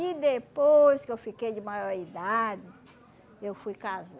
E depois que eu fiquei de maior idade, eu fui